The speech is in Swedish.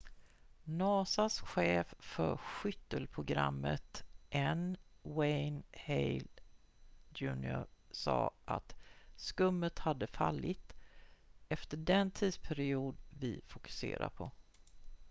"nasa:s chef för skyttelprogrammet n. wayne hale jr. sa att skummet hade fallit "efter den tidsperiod vi fokuserar på.""